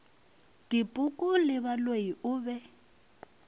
dipoko le baloi o be